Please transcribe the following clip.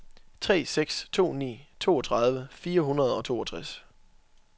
tre seks to ni toogtredive fire hundrede og toogtres